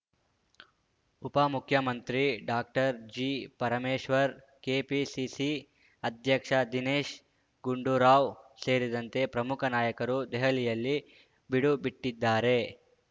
ಉಪಮುಖ್ಯಮಂತ್ರಿ doctor G Parameshwar KPCC ಅಧ್ಯಕ್ಷ ದಿನೇಶ್ ಗುಂಡೂರಾವ್ ಸೇರಿದಂತೆ ಪ್ರಮುಖ ನಾಯಕರು ದೆಹಲಿಯಲ್ಲಿ ಬೀಡುಬಿಟ್ಟಿದ್ದಾರೆ